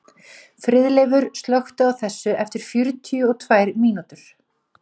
Friðleifur, slökktu á þessu eftir fjörutíu og tvær mínútur.